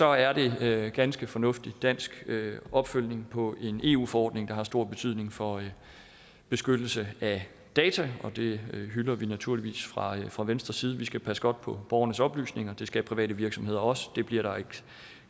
er det ganske fornuftig dansk opfølgning på en eu forordning der har stor betydning for beskyttelse af data og det hylder vi naturligvis fra fra venstres side vi skal passe godt på borgernes oplysninger det skal private virksomheder også det bliver der et